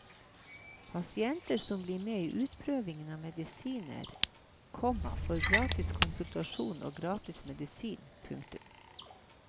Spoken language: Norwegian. Pasienter som blir med i utprøvingen av medisinen, komma får gratis konsultasjon og gratis medisin. punktum